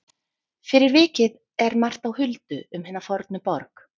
Fyrir vikið er margt á huldu um hina fornu borg.